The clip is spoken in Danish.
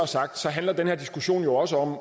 sagt handler den her diskussion jo også om